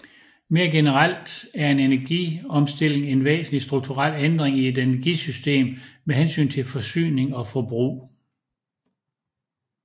Mere generelt er en energiomstilling en væsentlig strukturel ændring i et energisystem med hensyn til forsyning og forbrug